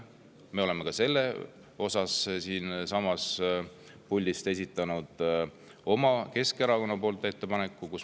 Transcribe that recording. Keskerakond on esitanud ka selle kohta siinsamas puldis oma ettepaneku.